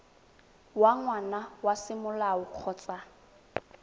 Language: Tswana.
wa ngwana wa semolao kgotsa